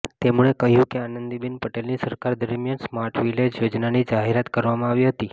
તેમણે કહ્યુ કે આનંદીબેન પટેલની સરકાર દરમિયાન સ્માર્ટ વિલેજ યોજનાની જાહેરાત કરવામાં આવી હતી